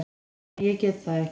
Nei, ég get það ekki.